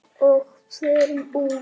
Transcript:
Og förum úr.